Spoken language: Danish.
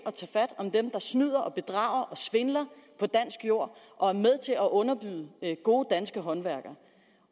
og snyder og bedrager og svindler på dansk jord og er med til at underbyde gode danske håndværkere